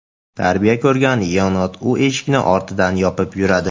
Tarbiya ko‘rgan yenot: u eshikni ortidan yopib yuradi .